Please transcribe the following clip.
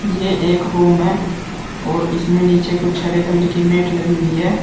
ये एक रूम है और इसमें नीचे कुछ हरे कलर की मैट लगी हुई है।